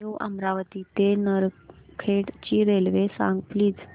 new Amravati ते नरखेड ची railway सांग प्लीज